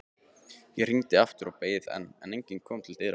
Ég hringdi aftur og beið, en enginn kom til dyra.